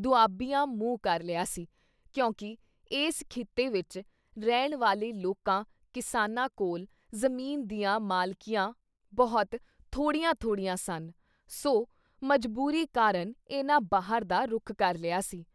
ਦੁਆਬੀਆਂ ਮੂੰਹ ਕਰ ਲਿਆ ਸੀ ਕਿਉਂਕਿ ਇਸ ਖਿੱਤੇ ਵਿੱਚ ਰਹਿਣ ਵਾਲੇ ਲੋਕਾਂ ਕਿਸਾਨਾਂ ਕੋਲ ਜ਼ਮੀਨ ਦੀਆਂ ਮਾਲਕੀਆਂ ਬਹੁਤ ਥੋੜ੍ਹੀਆਂ ਥੋੜ੍ਹੀਆਂ ਸਨ, ਸੋ ਮਜ਼ਬੂਰੀ ਕਾਰਨ ਇਨ੍ਹਾਂ ਬਾਹਰ ਦਾ ਰੁਖ਼ ਕਰ ਲਿਆ ਸੀ।